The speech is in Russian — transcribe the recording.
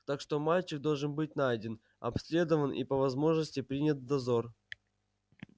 так что мальчик должен быть найден обследован и по возможности принят в дозор